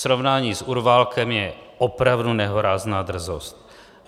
Srovnání s Urválkem je opravdu nehorázná drzost!